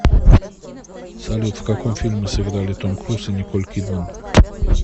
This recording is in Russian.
салют в каком фильме сыграли том круз и николь кидман